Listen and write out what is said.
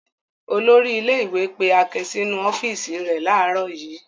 Olórí ilé-ìwé pé Akin sínú ọ́fíísì rẹ̀ láàárọ̀ yìí.